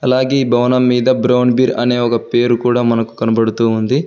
అలాగే భవనం మీద బ్రౌన్ బీర్ అనే ఒక పేరు కూడా మనకు కనబడుతూ ఉంది.